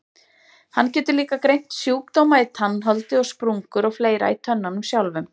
Hann getur líka greint sjúkdóma í tannholdi og sprungur og fleira í tönnunum sjálfum.